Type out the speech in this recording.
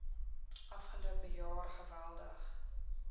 afgelope jaar geweldig